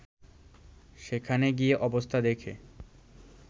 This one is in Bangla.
সেখানে গিয়ে অবস্থা দেখে